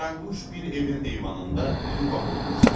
Qaranquş bir evin eyvanında yuva qurmuşdu.